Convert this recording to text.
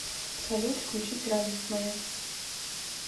салют включить радость моя